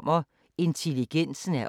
DR P4 Fælles